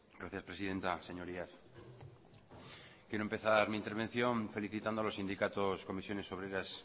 gracias presidenta señorías quiero empezar mi intervención felicitando a los sindicatos comisiones obreras